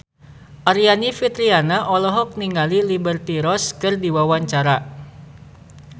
Aryani Fitriana olohok ningali Liberty Ross keur diwawancara